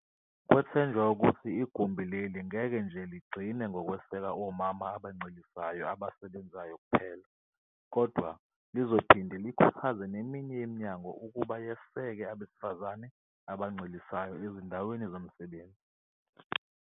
Kwethenjwa ukuthi igumbi leli ngeke nje ligcine ngokweseka omama abancelisayo abasebenzayo kuphela, kodwa lizophinde likhuthaze neminye iminyango ukuba yeseke abesifazane abancelisayo ezindaweni zomsebenzi.